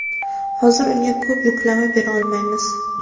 Hozir unga ko‘p yuklama bera olmaymiz.